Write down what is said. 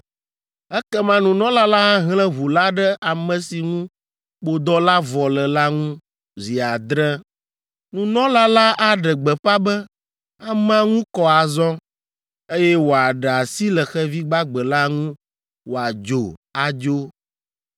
Ekema nunɔla la ahlẽ ʋu la ɖe ame si ŋu kpodɔ la vɔ le la ŋu zi adre. Nunɔla la aɖe gbeƒã be amea ŋu kɔ azɔ, eye wòaɖe asi le xevi gbagbe la ŋu wòadzo adzo.